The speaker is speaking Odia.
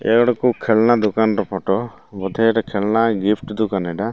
ଇଏ ଗୋଟେ କୋଉ ଖେଲନା ଦୋକାନର ଫଟ ବୋଧେ ଏଟା ଖେଲନା ଗିପ୍ଟି ଦୋକାନ ଏଟା।